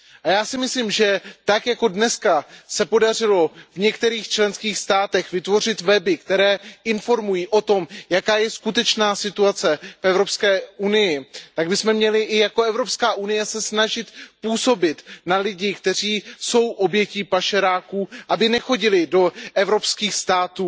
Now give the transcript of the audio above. Já si myslím, že tak jako dneska se podařilo v některých členských státech vytvořit weby, které informují o tom, jaká je skutečná situace v Evropské unii, tak bychom měli i jako Evropská unie se snažit působit na lidi, kteří jsou obětmi pašeráků, aby nechodili do evropských států